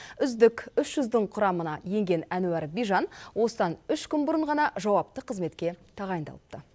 үздік үш жүздің құрамына енген әнуар бижан осыдан үш күн бұрын ғана жауапты қызметке тағайындалыпты